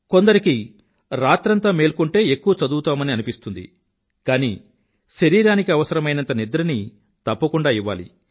కొందరికి రాత్రంతా మేల్కొంటే ఎక్కువ చదువుతామని అనిపిస్తుంది కానీ శరీరానికి అవసరమైనంత నిద్రని తప్పకుండా ఇవ్వాలి